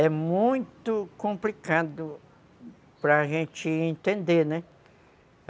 É muito complicado para gente entender, né?